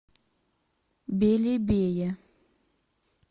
белебее